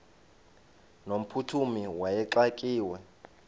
no mphuthumi wayexakiwe